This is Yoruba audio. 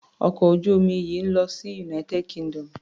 Ọkọ̀ ojú omi yìí ń lọ sí United Kingdom.